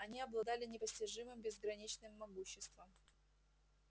они обладали непостижимым безграничным могуществом